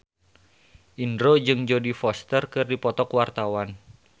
Indro jeung Jodie Foster keur dipoto ku wartawan